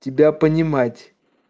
тебя понимать